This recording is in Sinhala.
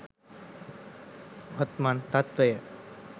වත්මන් තත්ත්වය